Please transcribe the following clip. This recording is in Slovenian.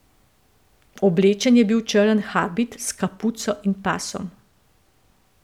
Oblečen je bil v črn habit s kapuco in pasom.